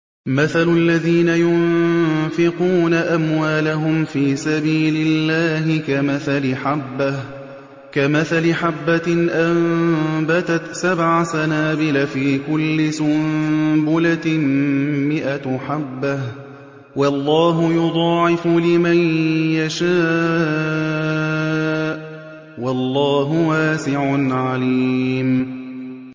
مَّثَلُ الَّذِينَ يُنفِقُونَ أَمْوَالَهُمْ فِي سَبِيلِ اللَّهِ كَمَثَلِ حَبَّةٍ أَنبَتَتْ سَبْعَ سَنَابِلَ فِي كُلِّ سُنبُلَةٍ مِّائَةُ حَبَّةٍ ۗ وَاللَّهُ يُضَاعِفُ لِمَن يَشَاءُ ۗ وَاللَّهُ وَاسِعٌ عَلِيمٌ